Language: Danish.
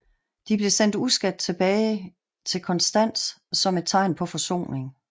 De blev sendt uskadt tilbage til Konstans som et tegn på forsoning